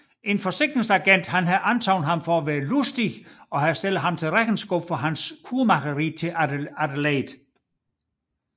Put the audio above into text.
En forsikringsagent har antaget ham for at være Lustig og har stillet ham til regnskab for hans kurmageri til Adelaide